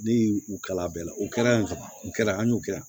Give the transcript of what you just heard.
Ne y'u u kalan bɛɛ la o kɛra yan o kɛra an y'o kɛ yan